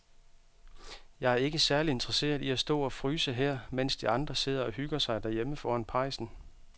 Jeg er ikke særlig interesseret i at stå og fryse her, mens de andre sidder og hygger sig derhjemme foran pejsen.